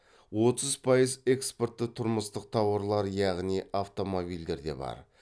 отыз пайыз экспортты тұрмыстық тауарлар яғни автомобилдерде бар